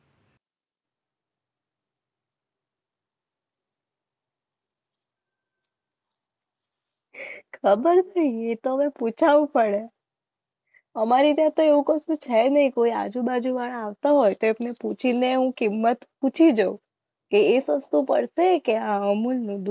ખબર પૂછવું પડે અમારે ત્યાં તો એવું કશું છે. નહીં કોઈ આજુબાજુ વાળા આવતા હોય તો પૂછીને હું કિંમત પૂછી જોવ જો એ સસ્તું પડે કે અમુલ નું દૂધ